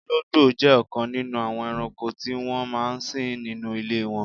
Ọlọ́gbò jẹ́ ọkan nínú àwọn èrànko ti wọn máa n sìn nínú ilẹ̀ wọn.